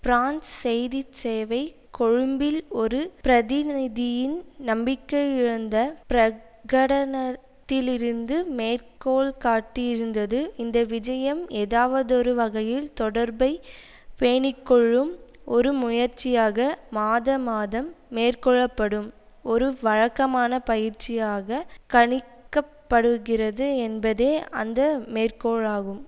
France செய்தி சேவை கொழும்பில் ஒரு பிரதிநிதியின் நம்பிக்கையிழந்த பிரகடனத்திலிருந்து மேற்கோள் காட்டியிருந்தது இந்த விஜயம் ஏதாவதொரு வகையில் தொடர்பை பேணிக்கொள்ளும் ஒரு முயற்சியாக மாதா மாதம் மேற்கொள்ள படும் ஒரு வழக்கமான பயிற்சியாக கணிக்க படுகிறது என்பதே அந்த மேற்கோளாகும்